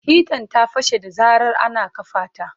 Hitan ta fashe da zarar ana kafa ta.